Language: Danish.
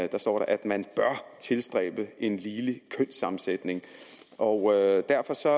der står at man bør tilstræbe en ligelig kønssammensætning og derfor sagde